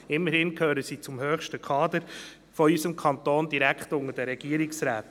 Immerhin gehören sie zum höchsten Kader unseres Kantons und stehen direkt unter den Regierungsräten.